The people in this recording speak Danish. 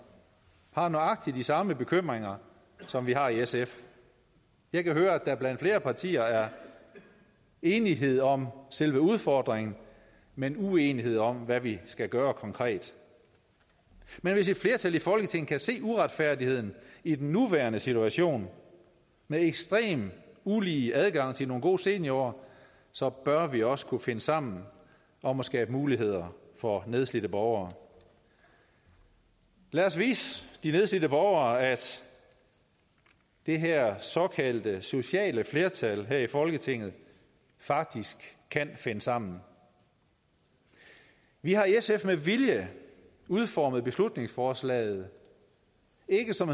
har nøjagtig de samme bekymringer som vi har i sf jeg kan høre at der blandt flere partier er enighed om selve udfordringen men uenighed om hvad vi skal gøre konkret men hvis et flertal i folketinget kan se uretfærdigheden i den nuværende situation med en ekstremt ulige adgang til nogle gode seniorår så bør vi også kunne finde sammen om at skabe muligheder for nedslidte borgere lad os vise de nedslidte borgere at det her såkaldte sociale flertal her i folketinget faktisk kan finde sammen vi vi har i sf med vilje udformet beslutningsforslaget ikke som